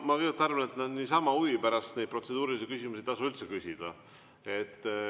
Ma kõigepealt arvan, et niisama huvi pärast protseduurilisi küsimusi ei tasu üldse küsida.